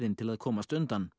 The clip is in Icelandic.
til að komast undan